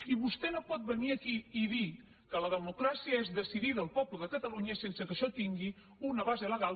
i vostè no pot venir aquí i dir que la democràcia és decidir el poble de catalunya sense que això tingui una base legal